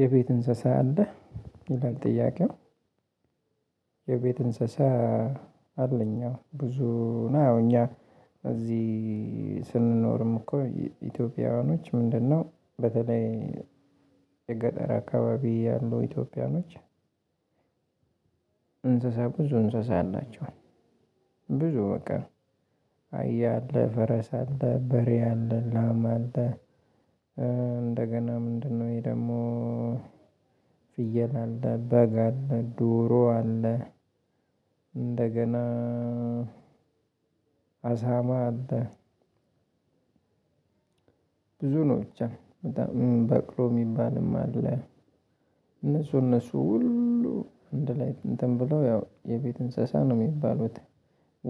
የቤት እንስሳ አለህ ይላል ጥያቄው። የቤት እንስሳ? አለኝ አዎ ብዙ ነው። ያው እኛ እዚህ ስንኖርም እኮ ኢትዮጵያውያኖች ምንድነው በተለይ የገጠር አካባቢ ያሉ ኢትዮጵያውያኖች። እንስሳ ብዙ እንስሳ አላቸው። ብዙ በቃ አህያ አለ ፈረስ አለ በሬ አለ ላም አለ። እንደገና ምንድነው ይሄ ደግሞ ፍየል አለ በግ አለ ዶሮ አለ። እንደገና አሳማ አለ። ብዙ ነው ብቻ በጣም በቅሎ የሚባልም አለ። እነሱ እነሱ ሁሉ አንድላይ እንትን ብለው ያው የቤት እንስሳ ነው የሚባሉት።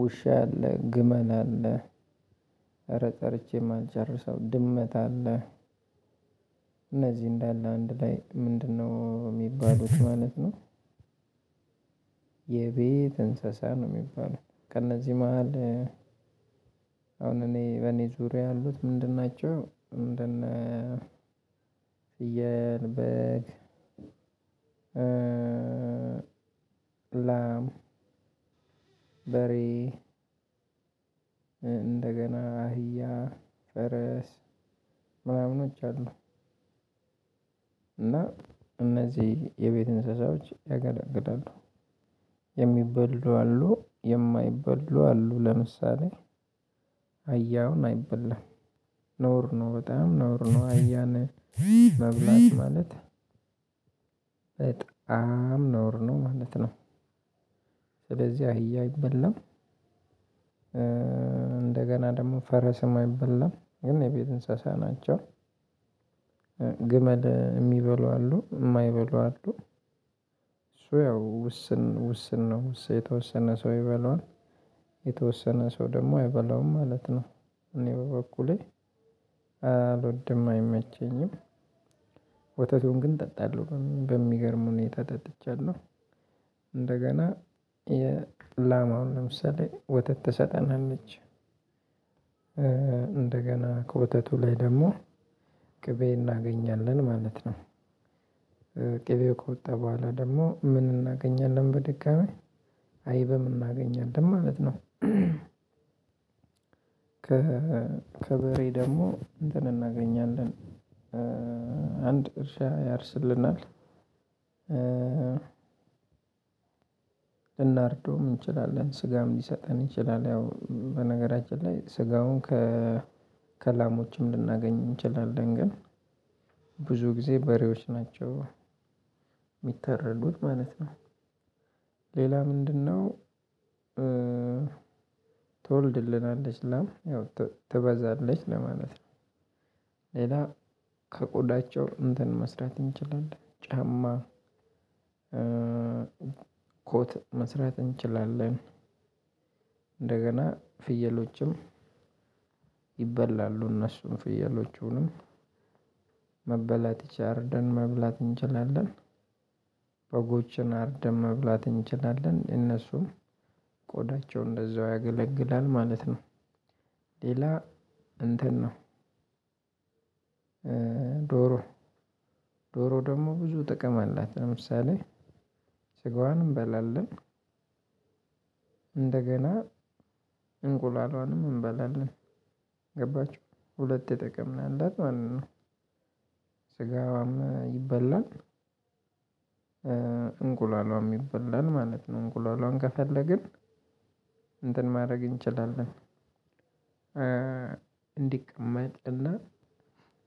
ውሻ አለ ግመል አለ ኧረ ጠርቼ የማልጨርሰው ድመት አለ። እነዚህ እንዳለ አንድ ላይ ምንድነው የሚባሉት ማለት ነው። የቤት እንስሳ ነው የሚባለው። ከእነዚህ መሃል አሁን እኔ በእኔ ዙሪያ ያሉት ምንድን ናቸው? እንደነ ፍየል በግ ላም በሬ እንደገና አህያ ፈረስ ምናምኖች አሉ። እና እነዚህ የቤት እንስሳዎች ያገለግላሉ። የሚበሉ አሉ የማይበሉ አሉ ለምሳሌ አህያ አሁን አይበላም። ነውር ነው በጣም ነውር ነው አህያን መብላት ማለት በጣም ነውር ነው ማለት ነው። ስለዚህ አህያ አይበላም። እንደገና ደግሞ ፈረስም አይበላም ግን የቤት እንስሳ ናቸው። ግመል የሚበሉ አሉ የማይበሉ አሉ። ያው ውስን ውስን ነው የተወሰነ ሰው ይበላዋል። የተወሰነ ሰው ደግሞ አይበላውም ማለት ነው። እኔ በበኩሌ አልወድም አይመቸኝም። ወተቱን ግን ጠጣለሁ በሚገርም ሁኔታ ጠጥቻለሁ። እንደገና የላማ አሁን ለምሳሌ ወተት ትሰጠናለች። እንደገና ከወተቱ ላይ ደግሞ ቅቤ እናገኛለን ማለት ነው። ቅቤ ከወጣ በኋላ ደግሞ ምን እናገኛለን በድጋሚ አይብም እናገኛለን ማለት ነው። ከከበሬ ደግሞ እንትን እናገኛለን አንድ እርሻ ያርስልናል። ልናርደውም እንችላለን ስጋም ሊሰጠን ይችላል ያው በነገራችን ላይ ስጋውን ከከላሞችም ልናገኝ እንችላለን። ግን ብዙ ጊዜ በሬዎች ናቸው የሚታረዱት ማለት ነው። ሌላ ምንድነው? ትወልድልናለች ላም ያው ት ትበዛለች ለማለት ነው። ሌላ ከቆዳቸው እንትን መስራት እንችላለን ጫማ ኮት መስራት እንችላለን። እንደገና ፍየሎችም ይበላሉ እነሱም ፍየሎቹንም መበላት ይች አርደን መብላት እንችላለን። በጎችን አርደን መብላት እንችላለን እነሱም ቆዳቸው እንደዛው ያገለግላል ማለት ነው። ሌላ እንትን ነው ዶሮ ዶሮ ደግሞ ብዙ ጥቅም አላት ለምሳሌ ስጋዋን እንበላለን። እንደገና እንቁላሏንም እንበላለን። ገባችሁ ሁለት ጥቅም ነው ያላት ማለት ነው። ስጋዋም ይበላል እንቁላልዋም ይበላል ማለት ነው እንቁላልዋን ከፈለግን እንትን ማድረግ እንችላለን። እንዲቀመጥና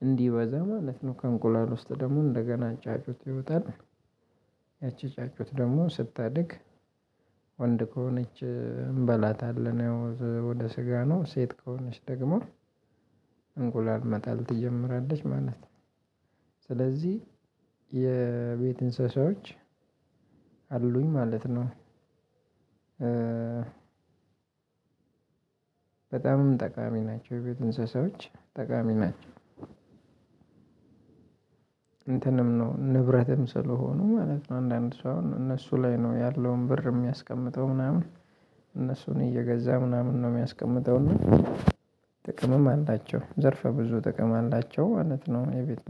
እንዲበዛ ማለት ነው ከእንቁላል ውስጥ ደግሞ እንደገና ጫጩት ይወጣል። ያቺ ጫጩት ደግሞ ስታድግ ወንድ ከሆነች እንበላታለን። ወደ ስጋ ነው ሴት ከሆነች ደግሞ እንቁላል መጣል ትጀምራለች ማለት ነው። ስለዚህ የቤት እንስሳዎች አሉኝ ማለት ነው። በጣምም ጠቃሚ ናቸው የቤት እንስሳዎች ጠቃሚ ናቸው። እንትንም ነው ንብረትም ስለሆኑ ማለት ነው አንዳንድ ሰው አሁን እነሱ ላይ ነው ያለውን ብር የሚያስቀምጠው ምናምን እነሱን እየገዛ ምናምን ነው የሚያስቀምጠው እና ጥቅምም አላቸው ዘርፈ ብዙ ጥቅም አላቸው ማለት ነው። የቤት